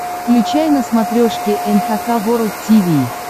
включай на смотрешке эн эйч кей волд ти ви